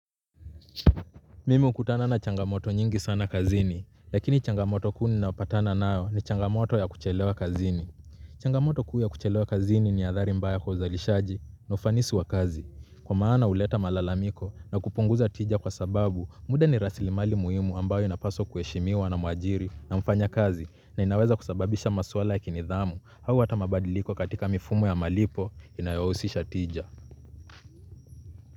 Mimi hukutana na changamoto nyingi sana kazini. Lakini changamoto kuu ninaopatana nao ni changamoto ya kuchelewa kazini. Changamoto kuu ya kuchelewa kazini ni athari mbaya kwa uzalishaji na ufanisi wa kazi. Kwa maana uleta malalamiko na kupunguza tija kwa sababu muda ni rasili mali muhimu ambayo inapaswa kuheshimiwa na mwajiri na mfanya kazi. Na inaweza kusababisha maswala ya kinidhamu. Hau hata mabadiliko katika mifumo ya malipo inayohusisha tija.